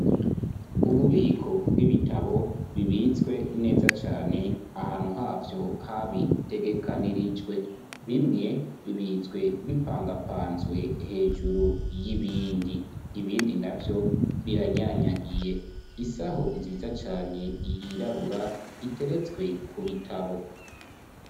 Ububiko bw'ibitabo bibitswe neza cane ahantu havyo habitegekanirijwe bimwe bibitswe bipangapanzwe hejuru y'ibindi ibindi navyo biranyanyagiye isaho nziza cane yirabura iteretswe ku bitabo.